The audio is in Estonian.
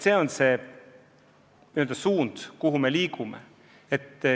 Selles suunas me liigume.